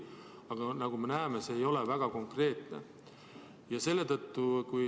Aga nagu me näeme, ei ole see väga konkreetne.